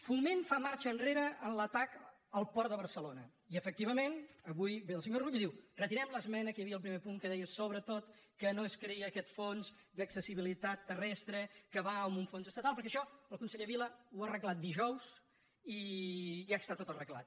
foment fa marxa enrere en l’atac al port de barcelona i efectivament avui ve el senyor rull i diu retirem l’esmena que hi havia al primer punt que deia que sobretot no es creés aquest fons d’accessibilitat terrestre que va amb un fons estatal perquè això el conseller vila ho va arreglar dijous i ja està tot arreglat